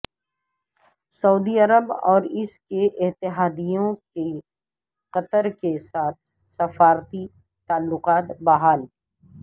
سعودی Arab اور اس کے اتحادیوں کے قطر کے ساتھ سفارتی تعلقات بحال